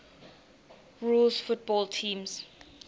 rules football teams